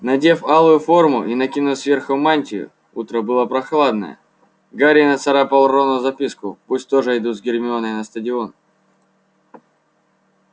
надев алую форму и накинув сверху мантию утро было прохладное гарри нацарапал рону записку пусть тоже идут с гермионой на стадион